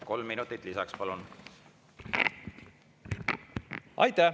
Kolm minutit lisaks, palun!